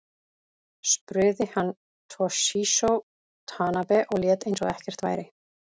Spruði hann Toshizo Tanabe og lét eins og ekkert væri.